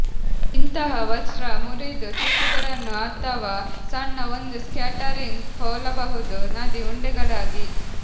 ಇಂತಹ ವಸ್ತ್ರ ಮುರಿದು ಚಿಪ್ಪುಗಳನ್ನು ಅಥವಾ ಸಣ್ಣ ಒಂದು ಸ್ಕ್ಯಾಟರಿಂಗ್ ಹೋಲಬಹುದು ನದಿ ಉಂಡೆಗಳಾಗಿ